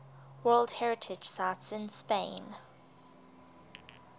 world heritage sites in spain